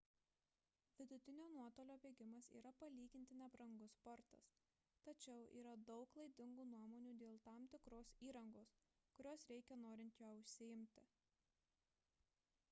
vidutinio nuotolio bėgimas yra palyginti nebrangus sportas tačiau yra daug klaidingų nuomonių dėl tam tikros įrangos kurios reikia norint juo užsiimti